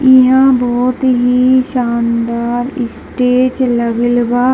ईहां बहुत ही शानदार स्टेज लगल बा।